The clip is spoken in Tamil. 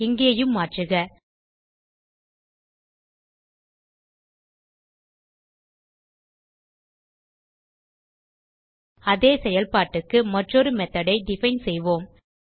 இங்கேயும் மாற்றுக அதே செயல்பாட்டுக்கு மற்றொரு மெத்தோட் ஐ டிஃபைன் செய்வோம்